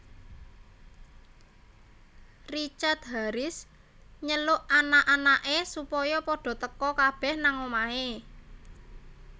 Richard Harris nyeluk anak anak e supaya padha teka kabeh nang omahe